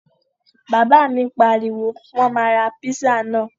Bàbá mi pariwo, Wọ́n máa ra píṣà náà!